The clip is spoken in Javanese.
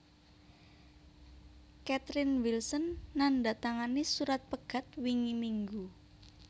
Catherine Wilson nandatangani surat pegat wingi minggu